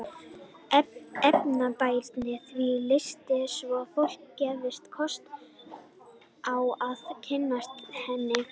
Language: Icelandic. Efnir bærinn því til listsýningar svo að fólki gefist kostur á að kynnast henni.